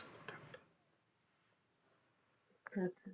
ਅੱਛਾ।